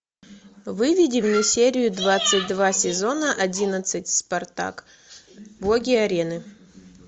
выведи мне серию двадцать два сезона одиннадцать спартак боги арены